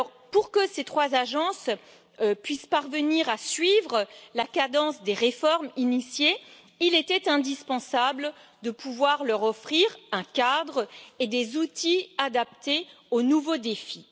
Pour que ces trois agences puissent parvenir à suivre la cadence des réformes initiées, il était indispensable de pouvoir leur offrir un cadre et des outils adaptés aux nouveaux défis.